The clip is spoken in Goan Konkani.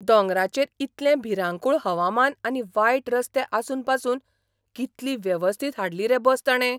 दोंगरांचेर इतलें भिरांकूळ हवामान आनी वायट रस्ते आसून पासून कितली वेवस्थीत हाडली रे बस ताणे.